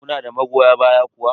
Kuna da magoya baya kuwa?